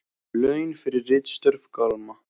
Laun fyrir ritstörf Gamla.